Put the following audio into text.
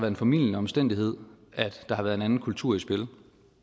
en formildende omstændighed at der har været en anden kultur i spil